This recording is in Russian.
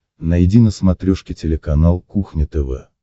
найди на смотрешке телеканал кухня тв